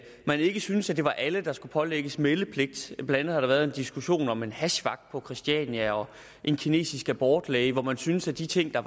man ikke syntes at det var alle der skulle pålægges meldepligt blandt andet har der været en diskussion om en hashvagt på christiania og en kinesisk abortlæge hvor man syntes at de ting der